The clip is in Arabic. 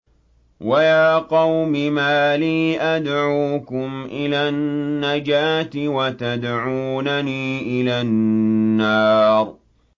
۞ وَيَا قَوْمِ مَا لِي أَدْعُوكُمْ إِلَى النَّجَاةِ وَتَدْعُونَنِي إِلَى النَّارِ